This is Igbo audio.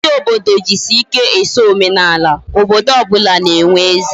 Mgbe ndi obodo jisi ike eso omenala, obodo obula na enwe eze